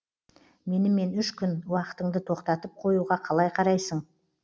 менімен үш күн уақытыңды тоқтатып қоюға қалай қарайсың